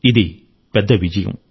ఇది పెద్ద విజయం